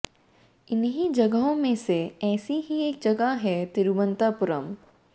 इन्हीं जगहों में से ऐसी ही एक जगह है तिरुवनंतपुरम